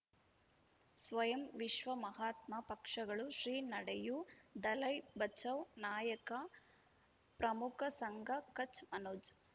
ಸ್ವಯಂ ವಿಶ್ವ ಮಹಾತ್ಮ ಪಕ್ಷಗಳು ಶ್ರೀ ನಡೆಯೂ ದಲೈ ಬಚೌ ನಾಯಕ ಪ್ರಮುಖ ಸಂಘ ಕಚ್ ಮನೋಜ್